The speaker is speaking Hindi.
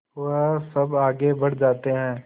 वह सब आगे बढ़ जाते हैं